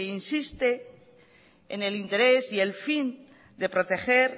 insiste en el interés y el fin de proteger